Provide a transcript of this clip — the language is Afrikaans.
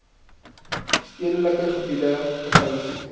stedelike gebiede verhuis